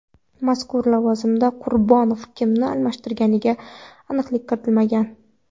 Mazkur lavozimda Qurbonov kimni almashtirganiga aniqlik kiritilmagan.